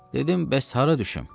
Dedim, bəs hara düşüm?